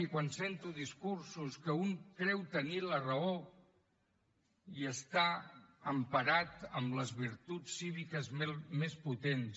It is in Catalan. i quan sento discursos en què un creu tenir la raó i està emparat en les virtuts cíviques més potents